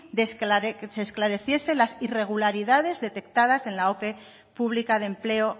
de que se esclareciese las irregularidades detectadas en la ope pública de empleo